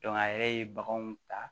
a yɛrɛ ye baganw ta